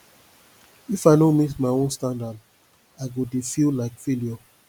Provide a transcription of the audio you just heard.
if i no meet my own standard i go dey feel like failure